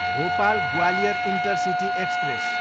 Bhopal, Gwalior intercity express